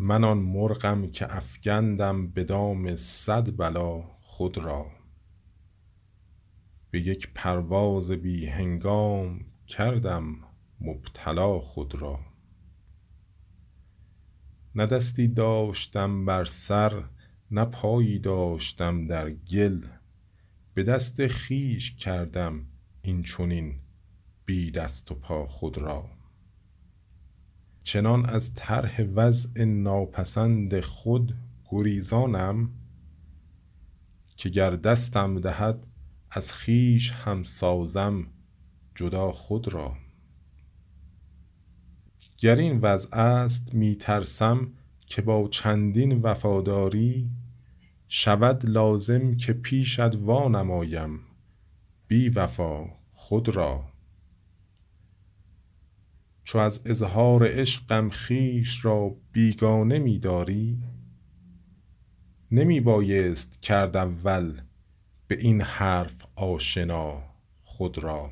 من آن مرغم که افکندم به دام صد بلا خود را به یک پرواز بی هنگام کردم مبتلا خود را نه دستی داشتم بر سر نه پایی داشتم در گل به دست خویش کردم اینچنین بی دست و پا خود را چنان از طرح وضع ناپسند خود گریزانم که گر دستم دهد از خویش هم سازم جدا خود را گر این وضع است می ترسم که با چندین وفاداری شود لازم که پیشت وانمایم بیوفا خود را چو از اظهار عشقم خویش را بیگانه می داری نمی بایست کرد اول به این حرف آشنا خود را